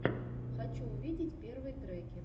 хочу увидеть первые треки